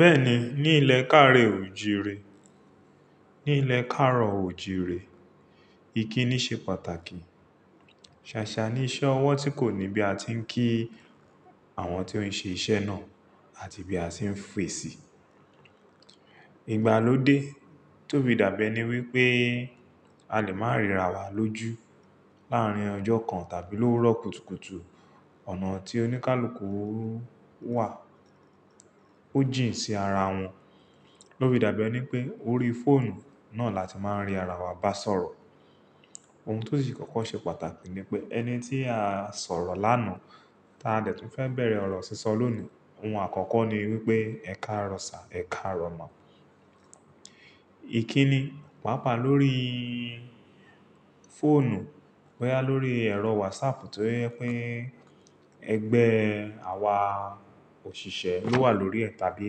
Bẹ́ẹ̀ni ní ìlẹ̀kàárò òojìre, ní ìlẹ̀kàárò oòjìre, ìkíni ṣe pàtàkì. Ṣàṣà ní iṣẹ́ ọwọ́ tí kò ní bí a ti ń kí àwọn tí ó ń ṣe iṣẹ́ náà àti bí a ti ń fèsì. Ìgbàlódé tó fi da bi ẹ́ni wípé a lè máa ríra wa lójú láàárín ọjọ́ kan tàbí lórókútùkùtù ọ̀nà tí oníkálukú wà. Ó jìn sí ara wọn, ló fí da bi ẹ́ni wípé orí fóònù náà la ti máa ń rí ara wa bá sọ̀rọ̀. Ohun tó sì kọ́kọ́ ṣe pàtàkì ni pé ẹni tí a sọ̀rọ̀ lánàá tí a dẹ̀ tún fẹ́ bẹ̀rẹ̀ ọ̀rọ̀ sísọ lónìí, ohun àkọ́kọ́ ni wípé ẹ károo sir, ẹ károo ma. Ìkíni, pàápàá lórí fóònù, bóyá lórí ẹ̀rọ WhatsApp tó jẹ pé ẹgbẹ́ àwa òṣìṣẹ́ ló wà lórí ẹ̀ tàbí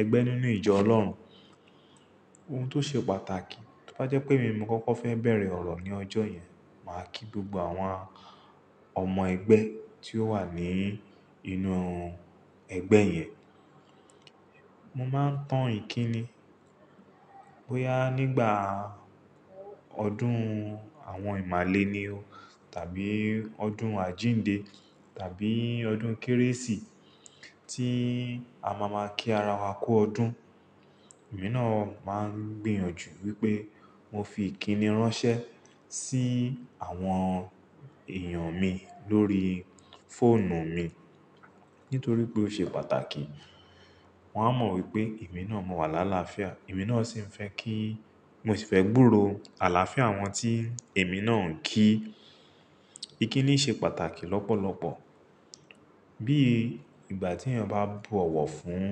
ẹgbẹ́ nínú ìjọ Ọlọ́run. Ohun tó ṣe pàtàkì, tó bá jẹ́ pé èmi mo kọ́kọ́ fẹ́ bẹ̀rẹ̀ ọ̀rọ̀ ní ọjọ́ yẹn, màá kí gbogbo àwa ọmọ ẹgbẹ́ tí ó wà ní inú ẹgbẹ́ yẹn. Mo máa ń tan ìkíni, bóyá nígbà ọdún àwọn ìmàle ni o tàbí ọdún àjíǹde tàbí ọdún Kérésì tí a ma ma kí ara wa kú ọdún. Èmi náà máa ń gbìyànjú wípé mo fi ìkíni ránṣẹ́ sí àwọn èèyàn mi lórí fóònù mi. Nítorí pé ó ṣe pàtàkì. Wọn á mọ̀ wípé èmi náà mọ̀ wà lálaafia, èmi náà sì ń fẹ́ kí Mo sì fẹ́ gbúrò àlàáfíà àwọn tí èmi náà ń kí. Ìkíni ṣe pàtàkì lọ́pọ̀lọpọ̀. Bí ìgbà tí èèyàn bá bọ̀wọ̀ fún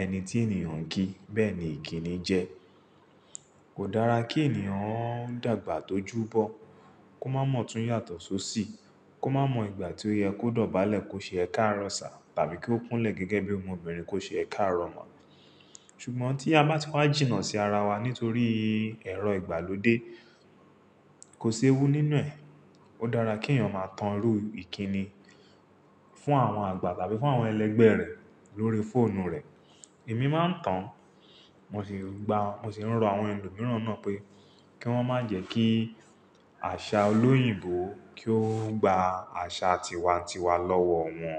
ẹni tí ènìyàn ń kí, bẹ́ẹ̀ ni ìkíni jẹ́. Kò dára kí ènìyàn dàgbà tó júbọ, kó má mọ̀ tún yàtọ̀ só sí, kó má mọ̀ ìgbà tí ó yẹ kó dọ̀bálẹ̀ kó ṣe ẹ károo sir tàbí kí ó kúnlẹ̀ gẹ́gẹ́ bí ọmọbìnrin kó ṣe ẹ károo ma. Ṣùgbọ́n tí a bá ti wá jìnnà sí ara wa nítorí ẹ̀rọ ìgbàlódé, kò séwú nínú ẹ̀. Ó dára kí èèyàn máa tan irú ìkíni fún àwọn àgbà tàbí fún àwọn ẹlẹgbẹ́ rẹ̀ lórí fóònù rẹ̀. Èmi máa ń tan, mo sì gba, mo sì ń rọ àwọn ẹlòmíràn náà pé kí wọ́n má jẹ́ kí àṣà olóyìnbó kí ó gba àṣà tiwa-n-tiwa lọ́wọ́ wọn.